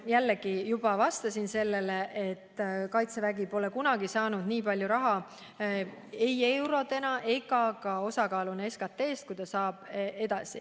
Jällegi, ma juba vastasin, et kaitsevägi pole kunagi saanud nii palju raha – ei eurodes ega osakaaluna SKT‑s –, kui ta edaspidi saama hakkab.